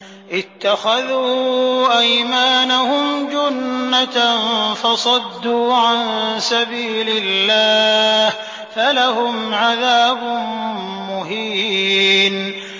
اتَّخَذُوا أَيْمَانَهُمْ جُنَّةً فَصَدُّوا عَن سَبِيلِ اللَّهِ فَلَهُمْ عَذَابٌ مُّهِينٌ